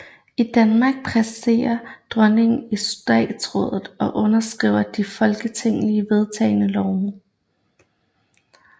I Danmark præsiderer dronningen i Statsrådet og underskriver de af Folketinget vedtagne love